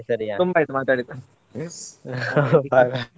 ತುಂಬಾ ಆಯ್ತು ಮಾತಾಡಿದ್ದು .